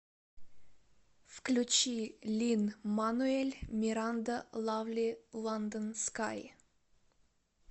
включи лин мануэль миранда лавли ландон скай